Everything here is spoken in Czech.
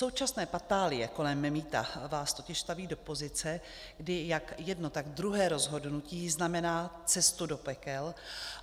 Současné patálie kolem mýta vás totiž staví do pozice, kdy jak jedno, tak druhé rozhodnutí znamená cestu do pekel.